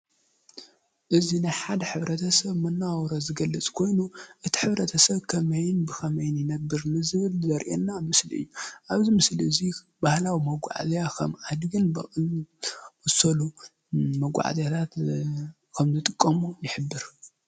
እዙይ ናይ ሓደ ሕብረተሰብ መነባብሮ ዝገልፅ ኮይኑ እቲ ሕብረተሰብ ከመይን ብከመይን ይነብር ንዝብል ዘሪኤና ምስሊ እዩ። አብዚ ምስሊ እዚ ባህላዊ መጓዓዝያ ከም አድግን በቅሊን ዝኣመሰሉ መጓዓዝያታት ከም ዝጥቀሙ ይሕብር።